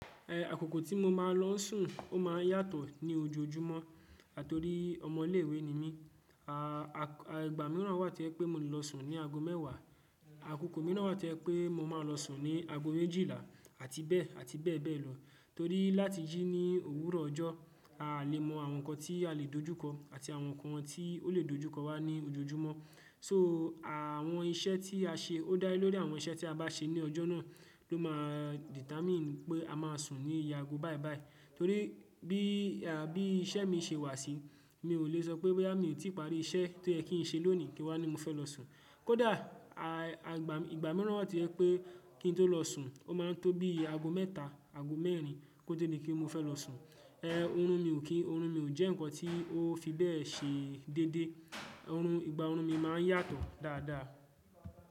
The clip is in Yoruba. Ẹ àkókò tí mo máa lọ sùn ó ma ń yàtọ̀ ní ojoojúmọ́ àtori ọmọ ilé ìwé ni mí. Àá ìgbà mìíràn wà tí ẹ pé mo lè lọ sùn ní ago mẹ́wàá. Àkókò mìíràn wà tí ẹ pé mo máa lọ sùn ní ago méjìlá àti bẹ́ẹ̀ àti bẹ́ẹ̀ bẹ́ẹ̀ lọ. Torí láti jìí ní òwúrọ̀ ọjọ́, a lè mọ àwọn nǹkan tí a lè dojúkọ àti àwọn nǹkan tí ó lè dojúkọ wá ní ojoojúmọ́. So àwọn iṣẹ́ tí a ṣe ó dá lé lórí àwọn iṣẹ́ tí a bá ṣe ní ọjọ́ náà ló máa determine pé a máa sùn ní iye ago báyiì báyiì. Torí bí iṣẹ́ mi ṣe wà sí mi ò lè sọ pé boya mi ò tí ì parí iṣẹ́ tó yẹ kí n ṣe lónìí kí wá ní mo fẹ́ lọ sùn. Kódà àgbà ìgbà mìíràn wà tí ẹ pé kí n tó lọ sùn ó máa tó bí ago mẹ́ta, ago mẹ́rin kó tó ní kí mo fẹ́ lọ sùn. Ẹ òórùn mi ò kí, òórùn mi ò jẹ́ nǹkan tí ó fi bẹ́ẹ̀ ṣe dédé. Òórùn ìgbà òórùn mi máa ń yàtọ̀ dáadáa.